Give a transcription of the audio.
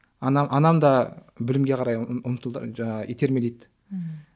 ана анам да білімге қарай жаңағы итермелейді ммм